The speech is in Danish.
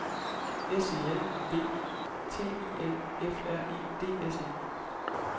S E L V T I L F R E D S E